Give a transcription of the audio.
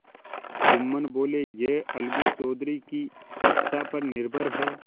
जुम्मन बोलेयह अलगू चौधरी की इच्छा पर निर्भर है